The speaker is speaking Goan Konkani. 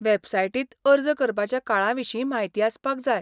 वेबसायटींत अर्ज करपाच्या काळा विशीं म्हायती आसपाक जाय.